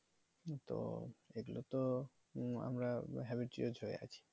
তো এগুলো তো আমরা habituate হয়ে আছি